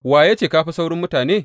Wa ya ce ka fi sauran mutane?